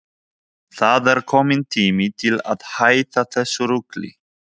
Þangað til byrjað var að lesa í úrslit.